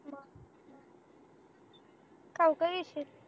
ठाऊक आहे येशीत